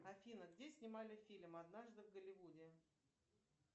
афина где снимали фильм однажды в голливуде